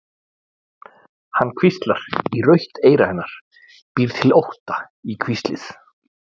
Hann hvíslar í rautt eyra hennar, býr til ótta í hvíslið.